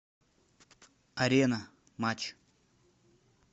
арена матч